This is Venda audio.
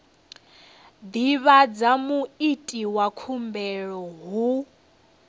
divhadza muiti wa khumbelo hu